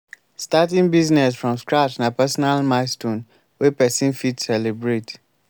starting business from scratch na personal milestone wey person fit celebrate